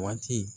Waati